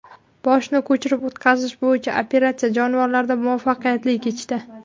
Boshni ko‘chirib o‘tkazish bo‘yicha operatsiya jonivorlarda muvaffaqiyatli kechdi.